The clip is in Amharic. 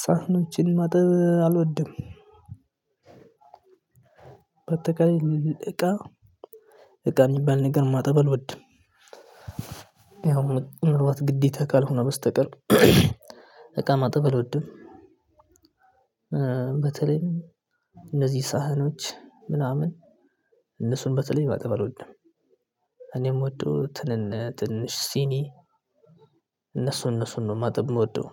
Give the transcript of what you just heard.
ሳህኖችን ማጠብ አልወድም። በአጠቃላይ እቃ እቃ የሚባል ነገር ማጠብ አልወድም። ምናልባት ግዴታ ካልሆነ በስተቀር እቃ ማጠብ አልወድም። በተለይም እነዚህ ሳህኖች ምናምን እነሱን በተለይ ማጠብ እልወድም። እኔ የምወደው ትንሽ ሲኒ እነሱ እነሱን ነው ማጥብ የምወደው።